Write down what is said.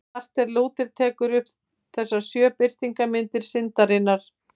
Marteinn Lúther telur upp þessar sjö birtingarmyndir syndarinnar.